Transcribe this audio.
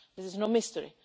This is no mystery.